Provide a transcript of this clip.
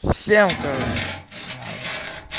всем короче надо